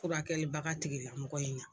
Furakɛlibaga tigilamɔgɔ in na